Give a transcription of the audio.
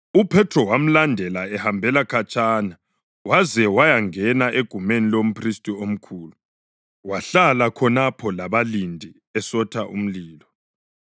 UPhethro wamlandela ehambela khatshana, waze wayangena egumeni lomphristi omkhulu. Wahlala khonapho labalindi esotha umlilo.